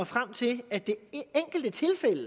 frem til at det enkelte tilfælde